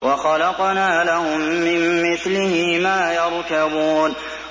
وَخَلَقْنَا لَهُم مِّن مِّثْلِهِ مَا يَرْكَبُونَ